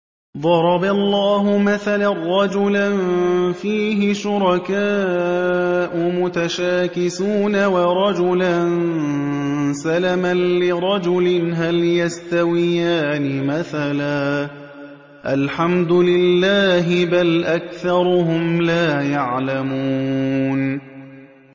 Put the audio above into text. ضَرَبَ اللَّهُ مَثَلًا رَّجُلًا فِيهِ شُرَكَاءُ مُتَشَاكِسُونَ وَرَجُلًا سَلَمًا لِّرَجُلٍ هَلْ يَسْتَوِيَانِ مَثَلًا ۚ الْحَمْدُ لِلَّهِ ۚ بَلْ أَكْثَرُهُمْ لَا يَعْلَمُونَ